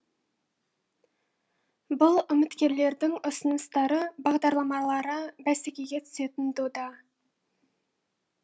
бұл үміткерлердің ұсыныстары бағдарламалары бәсекеге түсетін дода